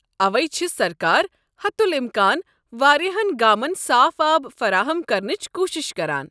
اوے چھِ سرکار حتل امكان وارِیاہن گامن صاف آب فراہم كرنٕچ کوُشِش کران ۔